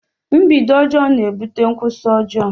A bad begining makes a bad ending.